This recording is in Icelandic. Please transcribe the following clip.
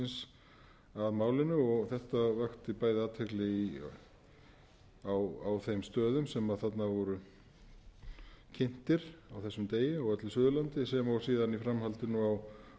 lýðveldisins að málinu og gert vakti bæði athygli á þeim stöðum sem þarna voru kynntir á þessum degi á öllu suðurlandi sem og síðan í framhaldinu á iðnaðarfyrirtækjunum land allt